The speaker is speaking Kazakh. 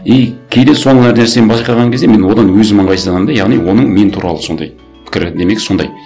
и кейде сондай нәрсені байқаған кезде мен одан өзім ыңғайсызданамын да яғни оның мен туралы сондай пікірі демек сондай